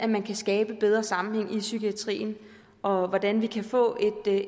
man kan skabe bedre sammenhæng i psykiatrien og hvordan vi kan få